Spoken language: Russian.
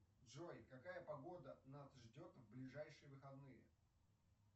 джой какая погода нас ждет в ближайшие выходные